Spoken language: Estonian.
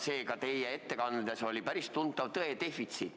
Seega, teie ettekandes oli päris tuntav tõe defitsiit.